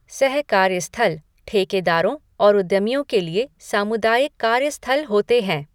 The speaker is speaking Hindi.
सह कार्य स्थल ठेकेदारों और उद्यमियों के लिए सामुदायिक कार्य स्थल होते हैं।